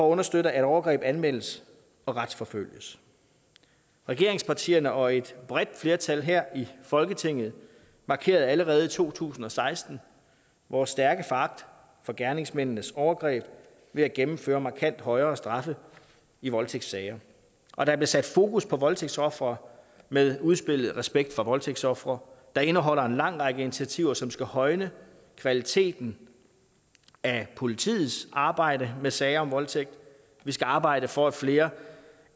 understøtte at overgreb anmeldes og retsforfølges regeringspartierne og et bredt flertal her i folketinget markerede allerede i to tusind og seksten vores stærke foragt for gerningsmændenes overgreb ved at gennemføre markant højere straffe i voldtægtssager og der blev sat fokus på voldtægtsofre med udspillet respekt for voldtægtsofre der indeholder en lang række initiativer som skal højne kvaliteten af politiets arbejde med sager om voldtægt vi skal arbejde for at flere